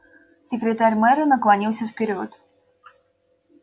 секретарь мэра наклонился вперёд